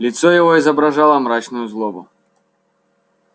лицо его изображало мрачную злобу